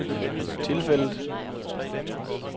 tilfældet